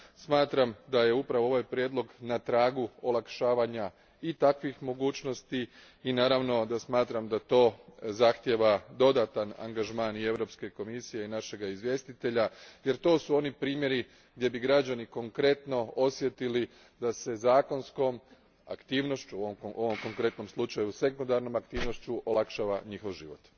Smatram da je upravo ovaj prijedlog na tragu olakšavanja i takvih mogućnosti i, naravno, smatram da to zahtijeva dodatan anagžaman Europske komisije i našeg izvjestitelja jer to su oni primjeri gdje bi građani konkretno osjetili da se zakonskom aktivnošću, ovdje konkretno sekundarnom aktivnošću, olakšava njihov život.